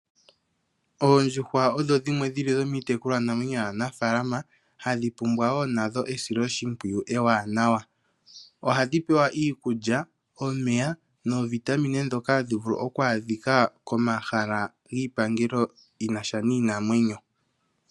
Oondjuhwa odho dhimwe dhi li dhomiitekulwa namwenyo yaanafaalama ha dhi pumbwa wo nadho esiloshimpwiyu ewanawa. Ohadhi pewa iikulya, omeya noovitamine ndhoka ha dhi vulu oku adhika komahala giipangelo yi na sha niinamwenyo.